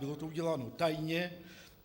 Bylo to uděláno tajně.